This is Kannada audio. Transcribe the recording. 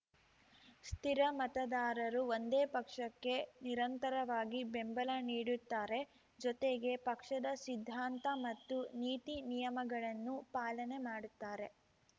ಸ್ಥಿರ ಮತದಾರರು ಒಂದೇ ಪಕ್ಷಕ್ಕೆ ನಿರಂತರವಾಗಿ ಬೆಂಬಲ ನೀಡುತ್ತಾರೆ ಜೊತೆಗೆ ಪಕ್ಷದ ಸಿದ್ಧಾಂತ ಮತ್ತು ನೀತಿ ನಿಯಮಗಳನ್ನೂ ಪಾಲನೆ ಮಾಡುತ್ತಾರೆ